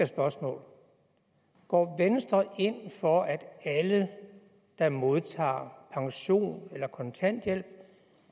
spørgsmål går venstre ind for at alle der modtager pension eller kontanthjælp